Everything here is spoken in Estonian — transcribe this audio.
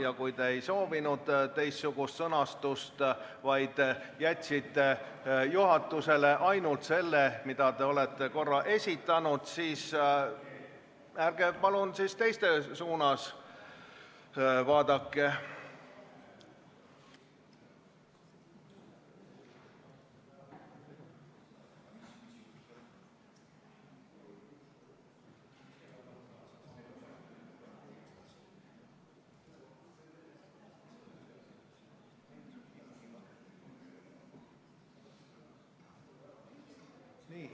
Ja kui te ei soovinud teistsugust sõnastust, vaid jätsite juhatusele ettepaneku, mille varem esitasite, siis ärge palun teiste suunas vaadake.